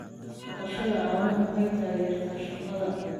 Dhaqashada caanaha waxay taageertaa shaqada.